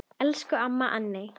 Elsku amma Anney.